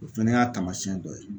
O fɛnɛ y'a taamasiyɛn dɔ ye